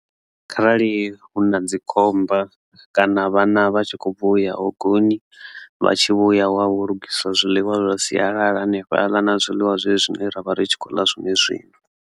Kharali hu na dzikhomba kana vhana vha tshi kho bva u ya hogoni vha tshi vhuya hu a lugiswa zwiḽiwa zwa sialala hanefhaḽa na zwiḽiwa zwezwi zwine ra vha ri tshi khou ḽa zwone zwino.